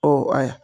Ɔ ayi